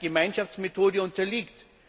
Gemeinschaftsmethode unterliegt.